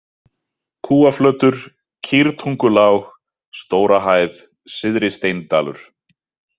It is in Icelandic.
Kúaflötur, Kýrtungulág, Stórahæð, Syðri-Steindalur